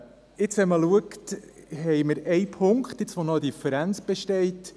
Wenn wir uns das anschauen, sehen wir, dass wir einen Punkt haben, bei dem noch eine Differenz besteht.